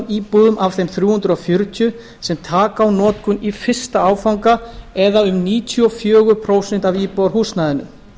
íbúðum af þeim þrjú hundruð fjörutíu sem taka á í notkun í fyrsta áfanga eða um níutíu og fjögur prósent af íbúðarhúsnæðinu